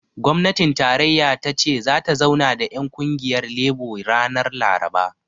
Gwamnatin tarayya ta ce zata zauna da ƴan ƙungiyar lebo ranar laraba